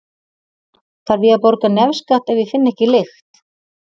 Þarf ég að borga nefskatt ef ég finn ekki lykt?